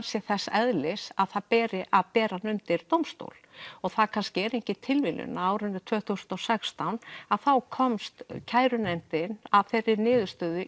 sé þess eðlis að það beri að bera undir dómstól og það kannski er engin tilviljun að árinu tvö þúsund og sextán þá komst kærunefndin að þeirri niðurstöðu